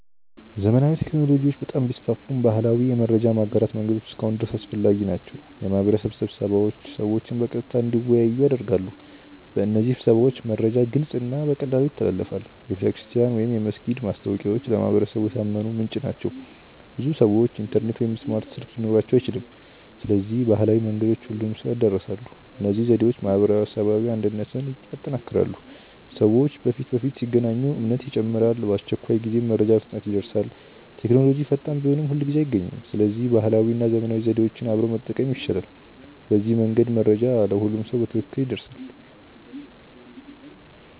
ዘመናዊ ቴክኖሎጂዎች በጣም ቢስፋፉም ባህላዊ የመረጃ ማጋራት መንገዶች እስካሁን ድረስ አስፈላጊ ናቸው። የማህበረሰብ ስብሰባዎች ሰዎችን በቀጥታ እንዲወያዩ ያደርጋሉ። በእነዚህ ስብሰባዎች መረጃ ግልጽ እና በቀላሉ ይተላለፋል። የቤተክርስቲያን ወይም የመስጊድ ማስታወቂያዎች ለማህበረሰቡ የታመነ ምንጭ ናቸው። ብዙ ሰዎች ኢንተርኔት ወይም ስማርት ስልክ ሊኖራቸው አይችልም። ስለዚህ ባህላዊ መንገዶች ሁሉንም ሰው ይድረሳሉ። እነዚህ ዘዴዎች ማህበራዊ አንድነትን ያጠናክራሉ። ሰዎች በፊት ለፊት ሲገናኙ እምነት ይጨምራል። በአስቸኳይ ጊዜም መረጃ በፍጥነት ይደርሳል። ቴክኖሎጂ ፈጣን ቢሆንም ሁልጊዜ አይገኝም። ስለዚህ ባህላዊ እና ዘመናዊ ዘዴዎች አብረው መጠቀም ይሻላል። በዚህ መንገድ መረጃ ለሁሉም በትክክል ይደርሳል።